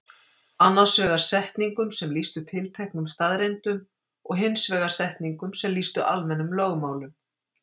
Annars vegar setningum sem lýstu tilteknum staðreyndum og hins vegar setningum sem lýstu almennum lögmálum.